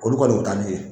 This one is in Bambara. Olu kɔni o bɛ taa n'u ye